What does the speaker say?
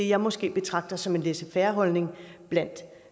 jeg måske betragter lidt som en laissez faire holdning blandt